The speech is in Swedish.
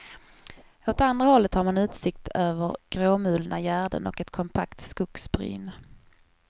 Åt andra hållet har man utsikt över gråmulna gärden och ett kompakt skogsbryn.